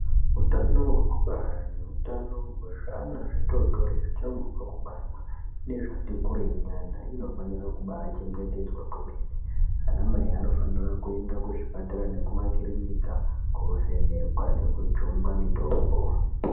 Hutano hwekubara nehutano gwezvana zvitotori zvichangibve kubarwa nezvati kurei nyana inofanire kubaa chengetedzwa kwemene ana mai anofanire kuende kuzvipatara nekumakirinika kovhenekwa nekujungwe mutombo.